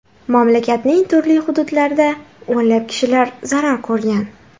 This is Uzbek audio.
Mamlakatning turli hududlarida o‘nlab kishilar zarar ko‘rgan.